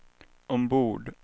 ombord